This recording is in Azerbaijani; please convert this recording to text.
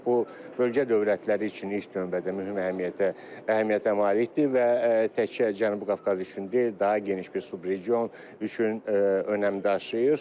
Bu bölgə dövlətləri üçün ilk növbədə mühüm əhəmiyyətə malikdir və təkcə Cənubi Qafqaz üçün deyil, daha geniş bir subregion üçün önəm daşıyır.